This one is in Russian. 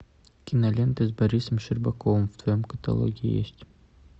киноленты с борисом щербаковым в твоем каталоге есть